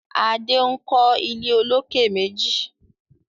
Ade nkọ ilé olokè méjì